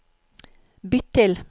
bytt til